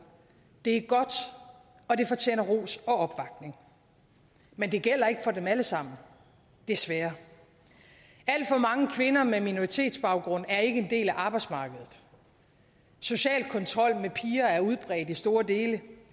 det er godt og det fortjener ros og opbakning men det gælder ikke for dem alle sammen desværre alt for mange kvinder med minoritetsbaggrund er ikke en del af arbejdsmarkedet social kontrol med piger er udbredt i store dele